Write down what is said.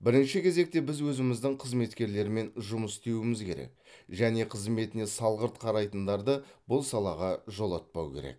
бірінші кезекте біз өзіміздің қызметкерлермен жұмыс істеуіміз керек және қызметіне салғырт қарайтындарды бұл салаға жолатпау керек